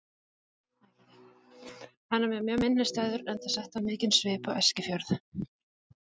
Hann er mér mjög minnisstæður enda setti hann mikinn svip á Eskifjörð.